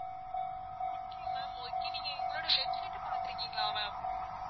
okay ma'am okay நீங்க எங்களோட website அ பார்த்து இருக்கீங்களா ma'am